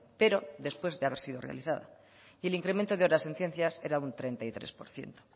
pero después de haber sido realizada y el incremento de horas en ciencias era un treinta y tres por ciento